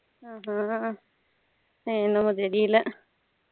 ஹம் ஹம் அது என்னமோ தெரியல